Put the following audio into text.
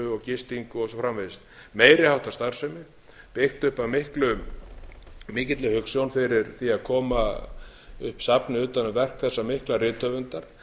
gistingu og svo framvegis meiri háttar starfsemi byggt upp af mikilli hugsjón fyrir því að koma upp safni utan um verk þessa mikla rithöfundar